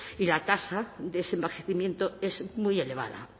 y la tasa de ese envejecimiento es muy elevada